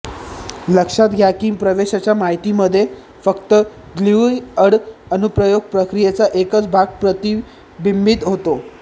लक्षात घ्या की प्रवेशाच्या माहितीमध्ये फक्त ग्यूलीअर्ड अनुप्रयोग प्रक्रियेचा एकच भाग प्रतिबिंबित होतो